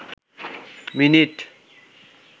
minute